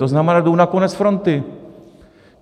To znamená, jdou na konec fronty.